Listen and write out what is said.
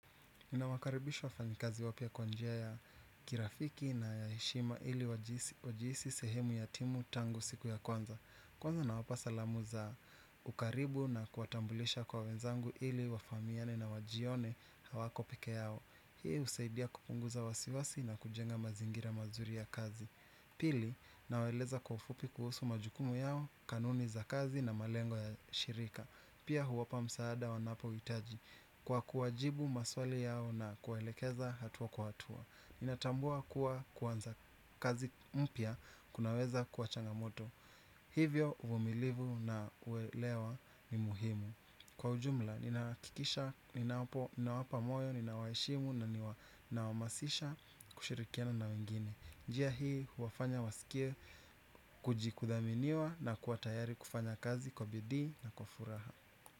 Ninawakaribisha wafanyikazi wapia kwa njia ya kirafiki na ya eshima ili wajiisi sehemu ya timu tangu siku ya kwanza. Kwanza nawapasalamu za ukaribu na kuatambulisha kwa wenzangu ili wafamiane na wajione hawako peke yao. Hii usaidia kupunguza wasiwasi na kujenga mazingira mazuri ya kazi. Pili naweleza kufupi kuhusu majukumu yao kanuni za kazi na malengo ya shirika. Pia huwapa msaada wanapo witaji. Kwa kuwajibu maswali yao na kuwelekeza hatuwa kuhatua inatambua kuwa kuwanza kazi mpia kunaweza kuwa changamoto. Hivyo uvumilivu na uelewa ni muhimu. Kwa ujumla, nina kikisha, nina wapa moyo, nina waishimu na nina wamasisha kushirikiana na wengine. Njia hii huwafanya wasikie kujikudaminiwa na kuatayari kufanya kazi kwa bidhi na kufuraha.